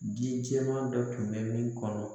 Ji jɛman dɔ tun bɛ min kɔnɔ